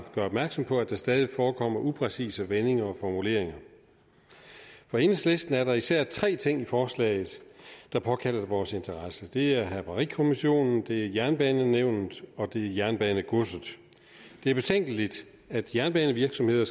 gør opmærksom på at der stadig forekommer upræcise vendinger og formuleringer for enhedslisten er der især tre ting i forslaget der påkalder sig vores interesse det er havarikommissionen det er jernbanenævnet og det er jernbanegodset det er betænkeligt at jernbanevirksomheder